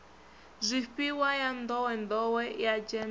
zwifhiwa ya nḓowenḓowe ya gems